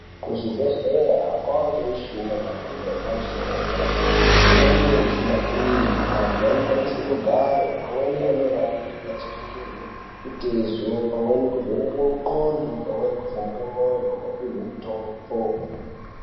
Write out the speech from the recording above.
Kuzvibhehlera kwaangemishina yemhando yepamusoro yederadera. Imweni mishina iyi antu anokwanise kugare amweni anorarire achiringirwe mitezo. Pamweni kuvhenekwe ndxondo pamweni kuvhenekwe mwoyo opihwe mitombo.